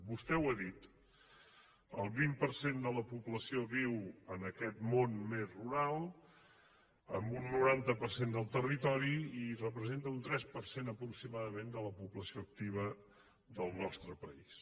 vostè ho ha dit el vint per cent de la població viu en aquest món més rural en un noranta per cent del territori i representa un tres per cent aproximadament de la població activa del nostre país